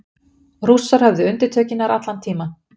Rússar höfðu undirtökin nær allan tímann